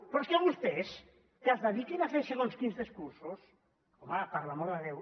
però és que vostès que es dediquin a fer segons quins discursos home per l’amor de déu